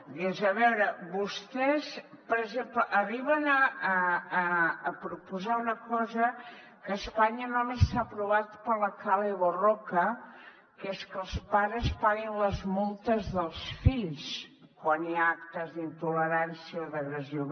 dius a veure vostès per exemple arriben a proposar una cosa que a espanya només s’ha aprovat per la kale borroka que és que els pares paguin les multes dels fills quan hi ha actes d’intolerància o d’agressió